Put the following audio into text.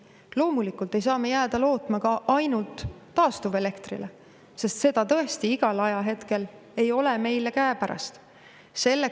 Loomulikult ei saa me jääda lootma ka ainult taastuvelektrile, sest seda tõesti igal ajahetkel meil käepärast ei ole.